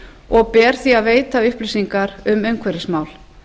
og ber því að veita upplýsingar um umhverfismál